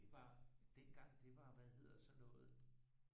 Det var dengang det var hvad hedder sådan noget